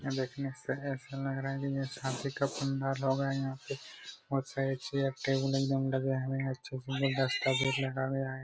देखने से ऐसा लग रहा हैकि जैसे शादी का बंदा लोग हैं यहां पे और साइड चेयर टेबुल एकदम लगे हुए हैं अच्छे से गुलदस्ता भी रखा गया है।